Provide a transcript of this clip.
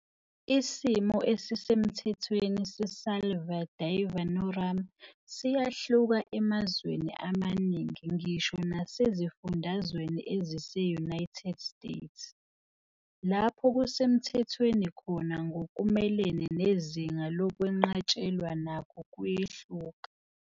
Isimo esisemthethweni seSalvia divinorum siyahluka emazweni amaningi ngisho nasezifundazweni ezise-United States. Lapho kusemthethweni khona ngokumelene nezinga lokwenqatshelwa nakho kuyehluka.